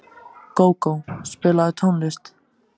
Gógó, spilaðu tónlist.